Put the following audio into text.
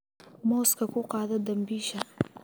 Mooska ku qaado dambiisha.